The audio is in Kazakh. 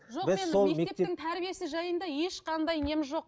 мектептің тәрбиесі жайында ешқандай нем жоқ